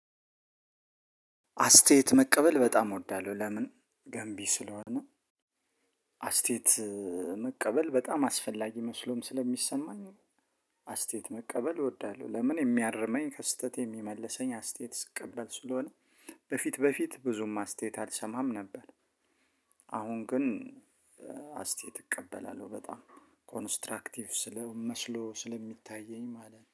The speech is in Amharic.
አስተያየት መቀበል በጣም እወዳለሁ ለምን ገንቢ ስለሆነ አስተያየት መቀበል በጣም አስፈላጊ መስሎም ስለሚሰማኝ። አስተያየት መቀበል እወዳለሁ ለምን የሚያርመኝ ከስህተቴ የሚመልሰኝ አስተያየት ስቀበል ስለሆነ። በፊት በፊት ብዙም አስተያየት አልሰማም ነበር። አሁን ግን አስተያየት እቀበላለሁ በጣም ኮንስትራክቲቭ ስለ መስሎ ስለሚታየኝ ማለት ነው